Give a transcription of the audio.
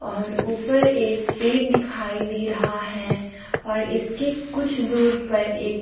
और ऊपर एक पेड़ दिखाई दे रहा है और इसके कुछ दूर पर एक--